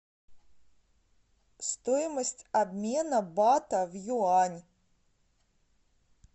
стоимость обмена бата в юань